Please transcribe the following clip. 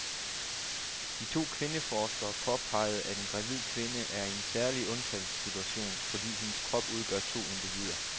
De to kvindeforskere påpeger, at en gravid kvinde er i en særlig undtagelsessituation, fordi hendes krop udgør to individer.